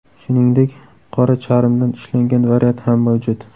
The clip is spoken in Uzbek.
Shuningdek, qora charmdan ishlangan variant ham mavjud.